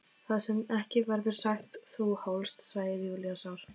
Það sem ekki verður sagt Þú hlóst, segir Júlía sár.